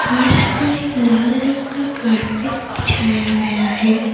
और इस पर एक लाल रंग का कारपेट बिछाया गया है।